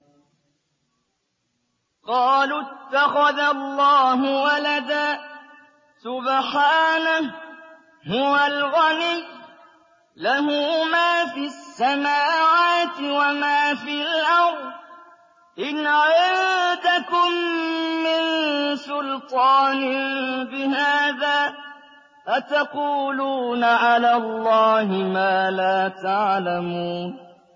قَالُوا اتَّخَذَ اللَّهُ وَلَدًا ۗ سُبْحَانَهُ ۖ هُوَ الْغَنِيُّ ۖ لَهُ مَا فِي السَّمَاوَاتِ وَمَا فِي الْأَرْضِ ۚ إِنْ عِندَكُم مِّن سُلْطَانٍ بِهَٰذَا ۚ أَتَقُولُونَ عَلَى اللَّهِ مَا لَا تَعْلَمُونَ